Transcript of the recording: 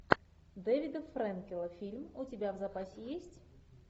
дэвида фрэнкела фильм у тебя в запасе есть